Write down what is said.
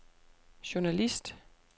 journalist